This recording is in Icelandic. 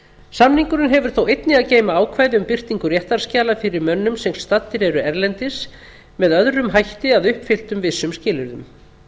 samningurinn hefur þó einnig að geyma ákvæði um birtingu réttarskjala fyrir mönnum sem staddir eru erlendis með öðrum hætti að uppfylltum vissum skilyrðum kveðið